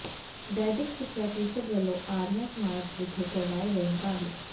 ਵੈਦਿਕ ਸਿੱਖਿਆ ਪ੍ਰੀਸ਼ਦ ਵੱਲੋਂ ਆਰੀਆ ਸਮਾਜ ਵਿਖੇ ਕਰਵਾਏ ਗਏ ਮੁਕਾਬਲੇ